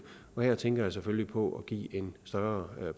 her tænker jeg selvfølgelig på at give en større